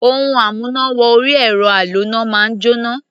Ohun amúná-wọ-orí-ẹ̀rọ aloná máa ń jóná.